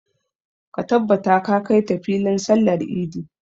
Ka tabbata ka kai ta filin sallar idi!